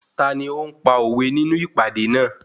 Tani ó ń pa òwe nínú ìpàdé náà?